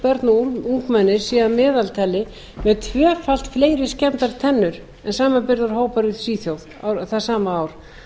og ungmenni séu að meðaltali með tvöfalt fleiri skemmdar tennur en samanburðarhópar í svíþjóð það sama ár